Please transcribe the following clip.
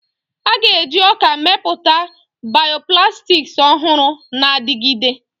A ga-eji ọka mepụta bioplastics ọhụrụ na-adigide.